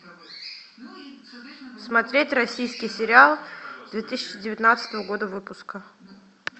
смотреть российский сериал две тысячи девятнадцатого года выпуска